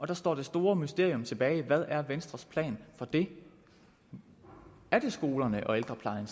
der står det store mysterium tilbage hvad er venstres plan for det er det skolerne og ældreplejen